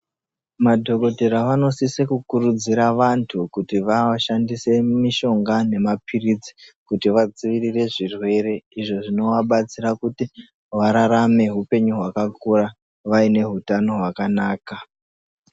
Madhokotera vanosise kukurudzira vantu kushandise mishonga nemapirizi kuti vadzivirire zvirwere, izvo zvinovabatsira kuti vararame upenyu hwakakura vaine utano hwakanaka.